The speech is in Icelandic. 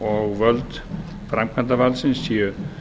og völd framkvæmdarvaldsins séu